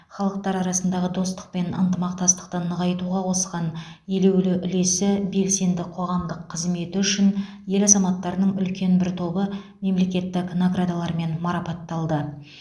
халықтар арасындағы достық пен ынтымақтастықты нығайтуға қосқан елеулі үлесі белсенді қоғамдық қызметі үшін ел азаматтарының үлкен бір тобы мемлекеттік наградалармен марапатталды